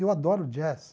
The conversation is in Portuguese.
Eu adoro jazz.